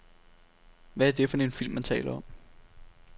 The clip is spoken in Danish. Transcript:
Hvad er det for film, man taler om.